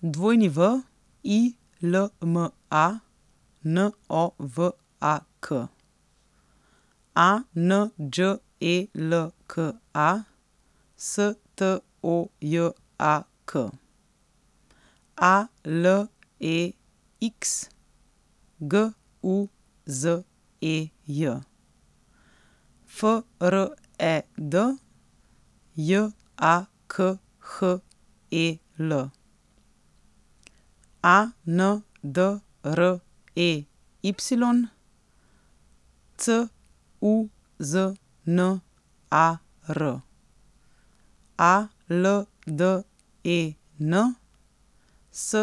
W I L M A, N O V A K; A N Đ E L K A, S T O J A K; A L E X, G U Z E J; F R E D, J A K H E L; A N D R E Y, C U Z N A R; A L D E N, S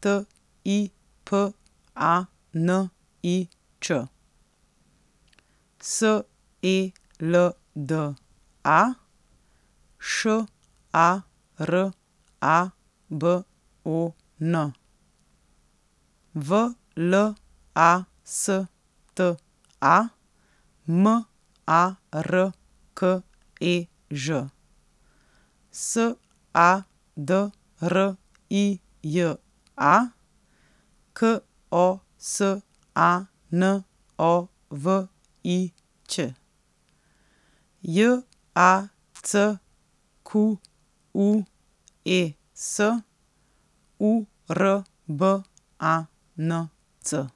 T I P A N I Č; S E L D A, Š A R A B O N; V L A S T A, M A R K E Ž; S A D R I J A, K O S A N O V I Ć; J A C Q U E S, U R B A N C.